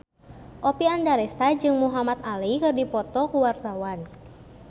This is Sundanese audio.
Oppie Andaresta jeung Muhamad Ali keur dipoto ku wartawan